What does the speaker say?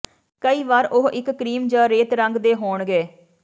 ਕਈ ਵਾਰ ਉਹ ਇੱਕ ਕਰੀਮ ਜ ਰੇਤ ਰੰਗ ਦੇ ਹੋਣਗੇ